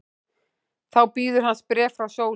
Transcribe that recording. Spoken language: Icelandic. Þá bíður hans bréf frá Sólu.